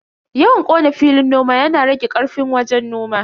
Yawan kona filin noma yana rage karfin wajen noman.